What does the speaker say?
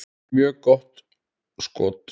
Mjög gott skot.